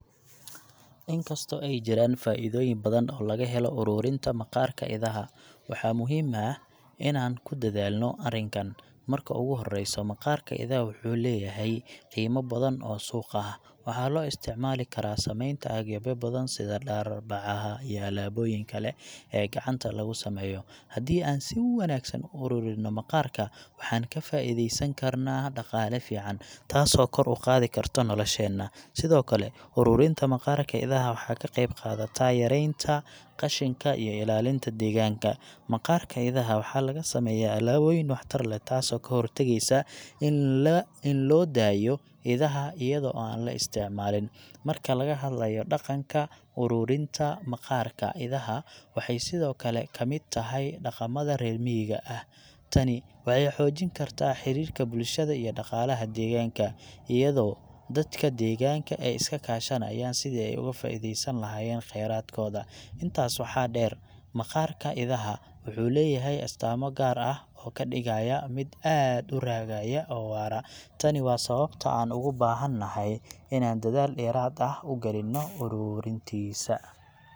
Inkasto ay jiraan faa'iidooyin badan oo laga helo ururinta maqaarka idaha, waxaa muhiim ah inaan ku dadaalno arrinkan. Marka ugu horreysa, maqaarka idaha wuxuu leeyahay qiimo badan oo suuq ah. Waxaa loo isticmaali karaa samaynta agabyo badan sida dhar, bacaha, iyo alaabooyinka kale ee gacanta lagu sameeyo. Haddii aan si wanaagsan u ururinno maqaarka, waxaan ka faa'iidaysan karnaa dhaqaale fiican, taasoo kor u qaadi karta nolosheena. Sidoo kale, ururinta maqaarka idaha waxay ka qayb qaadataa yareynta qashinka iyo ilaalinta deegaanka. Maqaarka idaha waxaa laga sameeyaa alaabooyin waxtar leh, taasoo ka hortagaysa in la, in loo daayo idaha iyada oo aan la isticmaalin. Marka laga hadlayo dhaqanka, ururinta maqaarka idaha waxay sidoo kale ka mid tahay dhaqamada reer miyiga ah. Tani waxay xoojin kartaa xiriirka bulshada iyo dhaqaalaha deegaanka, iyadoo dadka deegaanka ay iska kaashanayaan sidii ay uga faa’iidaysan lahaayeen kheyraadkooda. Intaas waxaa dheer, maqaarka idaha wuxuu leeyahay astaamo gaar ah oo ka dhigaya mid aad u raagaya oo waara. Tani waa sababta aan ugu baahanahay inaan dadaal dheeraad ah u gelinno ururintiisa.